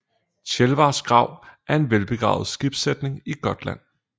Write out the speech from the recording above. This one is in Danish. Tjelvars grav er en velbevaret skibssætning i Gotland